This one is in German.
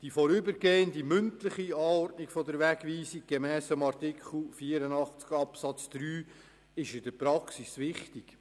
Die vorübergehende mündliche Anordnung einer Wegweisung gemäss Artikel 84 Absatz 3 ist in der Praxis wichtig.